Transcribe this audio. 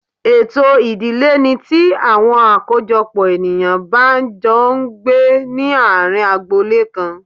Ètò ìdílé ní tí àwọn àkójọpò ènìyàn bá n jọ n gbé ní àárín agbo Ilé kan